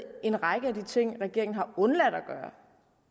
en række af de ting regeringen har undladt at gøre